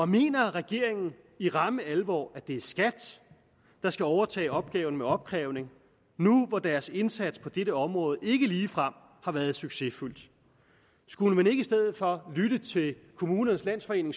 mener regeringen i ramme alvor at det er skat der skal overtage opgaven med opkrævning nu hvor deres indsats på dette område ikke ligefrem har været succesfuld skulle man ikke i stedet for lytte til kommunernes landsforening